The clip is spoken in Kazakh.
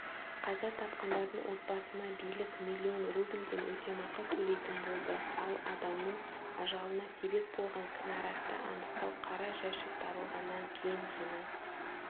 қаза тапқандардың отбасына билік миллион рубльден өтемақы төлейтін болды ал адамның ажалына себеп болған кінәратты анықтау қара жәшік табылғаннан кейін ғана